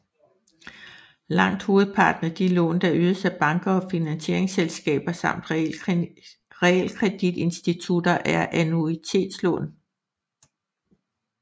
Langt hovedparten af de lån der ydes af banker og finansieringsselskaber samt realkreditinstitutter er annuitetslån